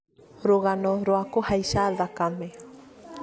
rũgano rwa kũhaica thakame